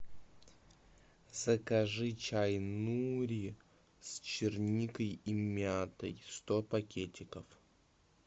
закажи чай нури с черникой и мятой сто пакетиков